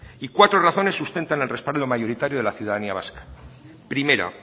y cuatro razones sustentan al respaldo mayoritario de la ciudadanía vasca primera